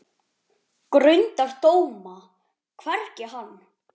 Grundar dóma, hvergi hann